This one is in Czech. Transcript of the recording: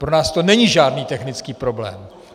Pro nás to není žádný technický problém.